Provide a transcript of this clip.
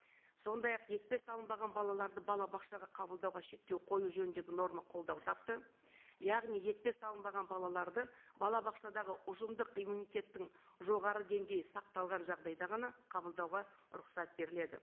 сондай ақ екпе салынбаған балаларды балабақшаға қабылдауға шектеу қою жөніндегі норма қолдау тапты яғни екпе салынбаған балаларды балабақшадағы ұжымдық иммунитеттің жоғары деңгейі сақталған жағдайда ғана қабылдауға рұқсат беріледі